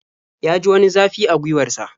Ya ji wani zafi a gwiwar sa.